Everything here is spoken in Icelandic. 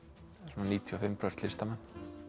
svona níutíu og fimm prósent listamenn